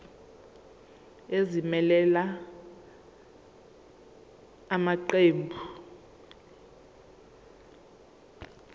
ezimelele la maqembu